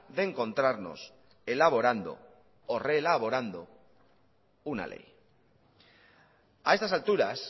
de encontrarnos elaborando o reelaborando una ley a estas alturas